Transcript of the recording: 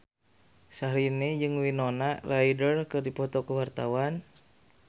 Syahrini jeung Winona Ryder keur dipoto ku wartawan